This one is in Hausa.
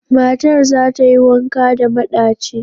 Matar za ta yi wanka da maɗachi.